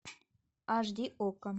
аш ди окко